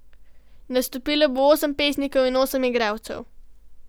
Nastopilo bo osem pesnikov in osem igralcev.